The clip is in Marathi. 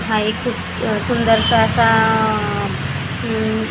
हा एक खूप सुंदरसा असा आह उम्म--